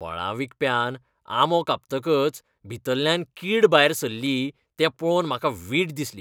फळां विकप्यान आंबो कापतकच भितरल्यान कीड भायर सरलो तें पळोवन म्हाका वीट दिसली.